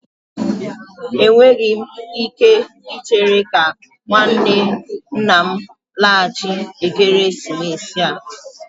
Enweghị m ike ichere ka nwanne nna m laghachi ekeresimesi a